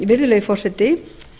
virðulegi forseti